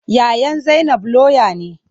Yayan zainab lauya ne.